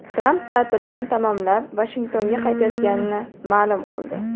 Tramp ta’tilini tamomlab, Vashingtonga qaytayotganini ma’lum qildi.